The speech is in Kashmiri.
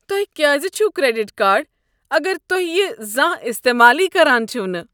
تۄہہ کیٛاز چھُو کریڈٹ کارڈ اگر تُہۍ یہِ زانٛہہ استعمالٕے کران چھِوٕ نہٕ؟